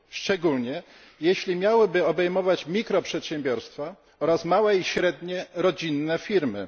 Szczególnie jeśli miałyby obejmować mikroprzedsiębiorstwa oraz małe i średnie rodzinne firmy.